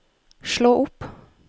slå opp